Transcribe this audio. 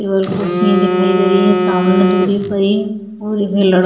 table कुर्सियां दिखाई दे रही है सामने दूरी पर ही और ये लड़का--